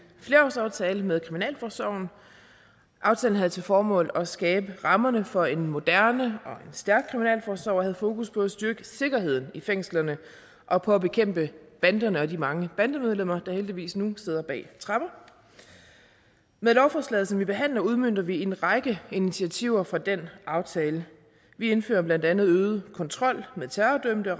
flerårsaftale med kriminalforsorgen aftalen havde til formål at skabe rammerne for en moderne og stærk kriminalforsorg og havde fokus på at styrke sikkerheden i fængslerne og på at bekæmpe banderne og de mange bandemedlemmer der heldigvis nu sidder bag tremmer med lovforslaget som vi behandler udmønter vi en række initiativer fra den aftale vi indfører blandt andet øget kontrol med terrordømte